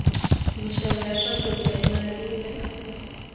mixavo ya swakudya yi navile